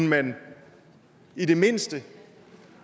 man i det mindste